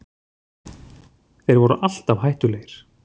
Þeir voru alltaf hættulegir